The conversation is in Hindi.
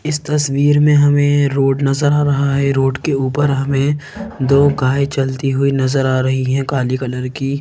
इस तस्वीर में हमें रोड नजर आ रहा है रोड के ऊपर हमें दो गाए चलती हुई नजर आ रही है काली कलर की।